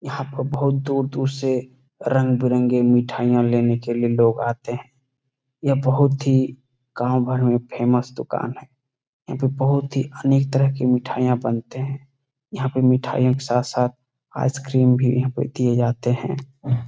यहां पर बहुत दूर-दूर से रंग-बिरंगे मिठाईयां लेने के लिए लोग आते है यह बहुत ही गांव भर में फेमस दुकान है यहां पर बहुत ही अनेक तरह के मिठाईयां बनते है यहाँ पे मिठाइयों के साथ-साथ आइसक्रीम भी यहां पे दिए जाते है।